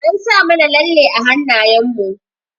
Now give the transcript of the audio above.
An sa mana lalle a hanayen mu.